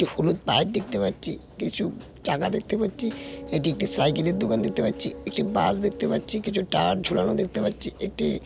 একটি হলুদ পাইপ দেখতে পাচ্ছি কিছু চাকা দেখতে পাচ্ছি এটি একটি সাইকেল -এর দোকান দেখতে পাচ্ছি একটি বাস দেখতে পাচ্ছি কিছু টায়ার ঝোলানো দেখতে পাচ্ছি একটি--